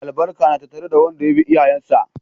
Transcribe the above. Albarka na tattare da wanda ya bi iyayensa.